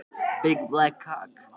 Það gerðist oft hér áður fyrr.